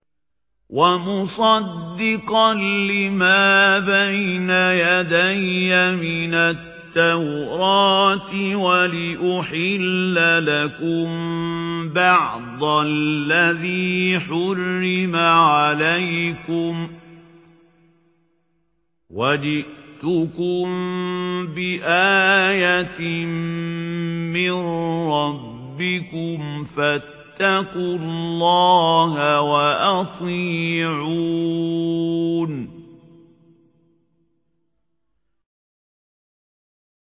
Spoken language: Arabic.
وَمُصَدِّقًا لِّمَا بَيْنَ يَدَيَّ مِنَ التَّوْرَاةِ وَلِأُحِلَّ لَكُم بَعْضَ الَّذِي حُرِّمَ عَلَيْكُمْ ۚ وَجِئْتُكُم بِآيَةٍ مِّن رَّبِّكُمْ فَاتَّقُوا اللَّهَ وَأَطِيعُونِ